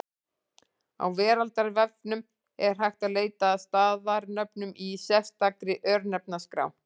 Á Veraldarvefnum er hægt að leita að staðarnöfnum í sérstakri Örnefnaskrá.